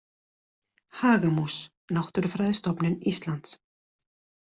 Hagamús Náttúrufræðistofnun Íslands.